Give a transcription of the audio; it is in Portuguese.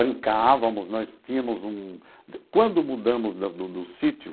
Brincávamos, nós tínhamos um... Quando mudamos do do do sítio,